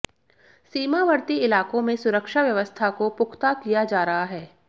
सीमावर्ती इलाकों में सुरक्षा व्यवस्था को पुख्ता किया जा रहा है